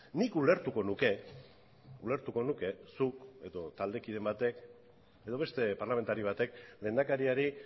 nik ulertuko nuke ulertuko nuke zuk edo taldekideen batek edo beste parlamentari batek lehendakariari